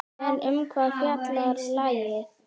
En um hvað fjallar lagið?